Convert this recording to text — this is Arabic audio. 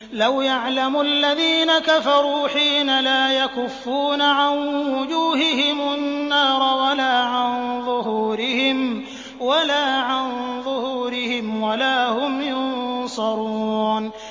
لَوْ يَعْلَمُ الَّذِينَ كَفَرُوا حِينَ لَا يَكُفُّونَ عَن وُجُوهِهِمُ النَّارَ وَلَا عَن ظُهُورِهِمْ وَلَا هُمْ يُنصَرُونَ